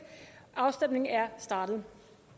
afstemningen er startet